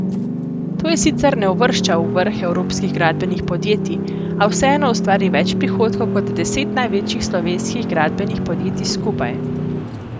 To je sicer ne uvršča v vrh evropskih gradbenih podjetij, a vseeno ustvari več prihodkov kot deset največjih slovenskih gradbenih podjetij skupaj.